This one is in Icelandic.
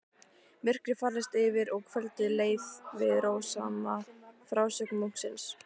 Myrkrið færðist yfir og kvöldið leið við rósama frásögn munksins.